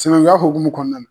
Sinankunya hokumu kɔnɔna na.